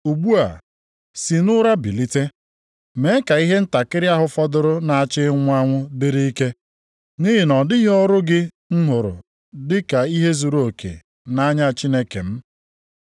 Ugbu a, sị nʼụra bilite. Mee ka ihe ntakịrị ahụ fọdụrụ na-achọ ịnwụ anwụ dịrị ike. Nʼihi na ọ dịghị ọrụ gị m hụrụ dị ka ihe zuruoke nʼanya Chineke m.